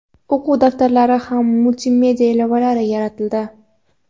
o‘quv daftarlari va multimedia ilovalari yaratildi.